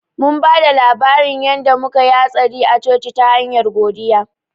Mun ba da labarin yanda muka ya hatsari a coci ta hanyar godiya